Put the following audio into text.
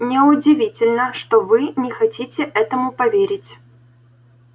не удивительно что вы не хотите этому поверить